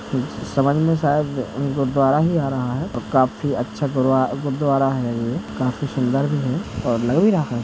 समझ में शायद अ गुरुद्वारा ही आ रहा है औ काफी अच्छा गुर - गुरुद्वारा है ये। काफी सुंदर है और लग --